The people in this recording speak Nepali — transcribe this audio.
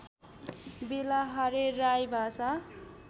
बेलाहारे राई भाषा